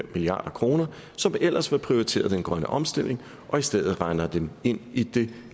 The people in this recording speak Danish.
milliard kr som ellers var prioriteret den grønne omstilling og i stedet regner dem ind i det